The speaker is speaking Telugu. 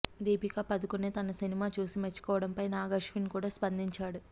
దీపిక పదుకోన్ తన సినిమా చూసి మెచ్చుకోవడంపై నాగ్ అశ్విన్ కూడా స్పందించాడు